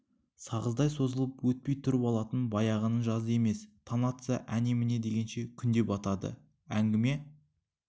сағыздай созылып өтпей тұрып алатын баяғының жазы емес таң атса әне-міне дегенше күн де батады әңгіме